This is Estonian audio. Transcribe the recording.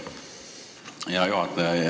Hea juhataja!